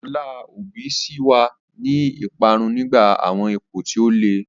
Ọlá Obi ṣì wà ní ìparun nígbà àwọn ipò tí ó le.